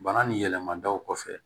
Bana ni yɛlɛma daw kɔfɛ